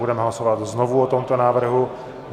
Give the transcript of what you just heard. Budeme hlasovat znovu o tomto návrhu.